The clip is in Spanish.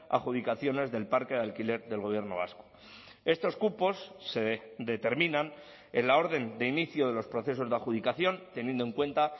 adjudicaciones del parque de alquiler del gobierno vasco estos cupos se determinan en la orden de inicio de los procesos de adjudicación teniendo en cuenta